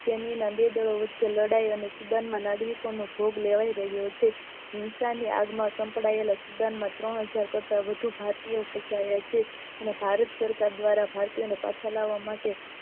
તેની ના બે વચ્ચે લડાય અને student ના લાદવી કો માં ભોગ લેવાય રહીયો છે હિંસાની આગા માં સંકળાયેલા student ત્રણ હઝાર કરતા વધુ ભારતીયો ફસાયા છે અને ભારત સરકાર દ્વારા ભારતીયો ને પાછા લાવા માટે